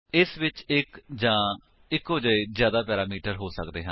ਇਸ ਵਿੱਚ ਇੱਕ ਜਾਂ ਇਕੋ ਜਹੇ ਜਿਆਦਾ ਪੈਰਾਮੀਟਰ ਹੋ ਸੱਕਦੇ ਹਨ